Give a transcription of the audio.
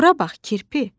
Bura bax, kirpi.